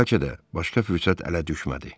Bəlkə də başqa fürsət ələ düşmədi.